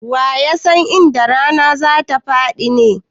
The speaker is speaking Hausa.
Wa ya san inda rana za ta faɗi ne?